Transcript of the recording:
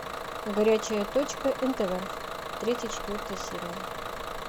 горячая точка нтв третья четвертая серия